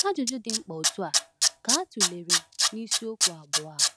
Ajụjụ dị mkpa otú a ka a tụlere n’isiokwu abụọ a.